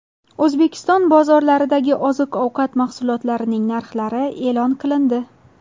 O‘zbekiston bozorlaridagi oziq-ovqat mahsulotlarning narxlari e’lon qilindi.